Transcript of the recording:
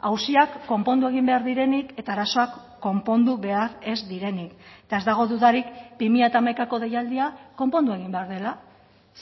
auziak konpondu egin behar direnik eta arazoak konpondu behar ez direnik eta ez dago dudarik bi mila hamaikako deialdia konpondu egin behar dela